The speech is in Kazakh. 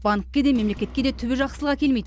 банкке де мемлекетке де түбі жақсылық әкелмейді